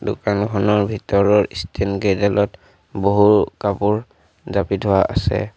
দোকানখনৰ ভিতৰৰ ষ্টেণ্ড কেইডালত বহু কাপোৰ জাপি থোৱা আছে।